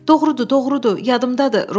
Doğrudur, doğrudur, yadımdadır!